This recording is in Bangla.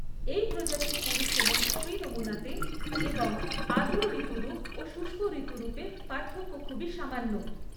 এই প্রজাতির পুরুষ এবং স্ত্রী নমুনাতে এবং আর্দ্র ঋতুরূপ ও শুষ্ক ঋতুরূপে পার্থক্য খুবই সামান্য।